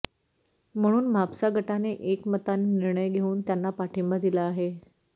म्हणून म्हापसा गटाने एकमताने निर्णय घेऊन त्यांना पाठींबा दिला आहे